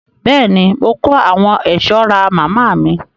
Bẹ́ẹ̀ ni, mo kó àwọn ẹ̀ṣọ́ ra màmá mi.